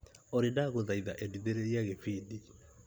Olĩ ndagũthaitha endithĩrĩria gĩbindi .